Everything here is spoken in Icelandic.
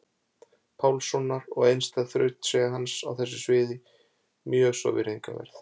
Pálssonar og einstæð þrautseigja hans á þessu sviði mjög svo virðingarverð.